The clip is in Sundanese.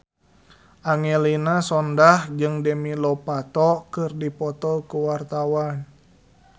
Angelina Sondakh jeung Demi Lovato keur dipoto ku wartawan